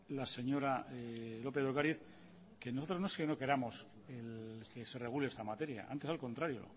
la señora lópez de ocariz que nosotros no es que no queramos que se regule esta materia antes al contrario